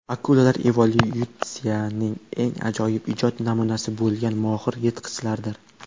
Akulalar evolyutsiyaning eng ajoyib ijod namunasi bo‘lgan mohir yirtqichlardir.